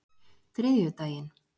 þriðjudaginn